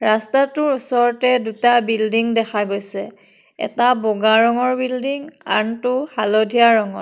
ৰাস্তাটোৰ ওচৰতে দুটা বিল্ডিং দেখা গৈছে এটা বগা ৰঙৰ বিল্ডিং আনটো হালধীয়া ৰঙৰ।